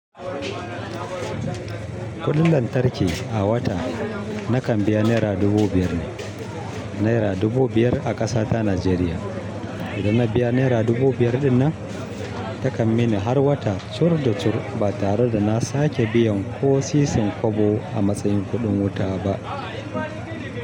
Kuɗin lantarki a wata nakan biya naira dubu biyar ne. Naira dubu biyar a ƙasa ta Najeriya. Idan na biya naira dubu biyar ɗinnan, takan mini har wata curbda cur ba tare da na sake biyan ko sisin kobo a matsayin kuɗin wuta ba.